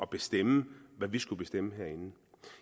bestemme hvad vi skulle bestemme herinde